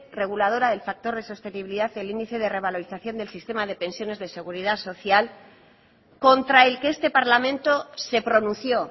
reguladora del factor de sostenibilidad y el índice de revalorización del sistema de pensiones de seguridad social contra el que este parlamento se pronunció